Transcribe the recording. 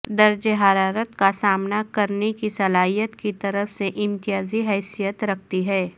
درجہ حرارت کا سامنا کرنے کی صلاحیت کی طرف سے امتیازی حیثیت رکھتی ہے